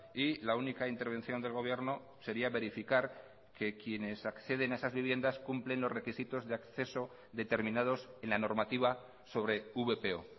y la única intervención del gobierno sería verificar que quienes acceden a esas viviendas cumplen los requisitos de acceso determinados en la normativa sobre vpo